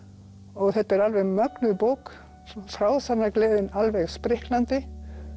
og þetta er alveg mögnuð bók frásagnargleðin alveg spriklandi